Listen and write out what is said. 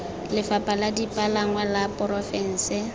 lefapha la dipalangwa la porofense